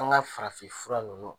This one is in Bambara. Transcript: An ka farafin fura ninnu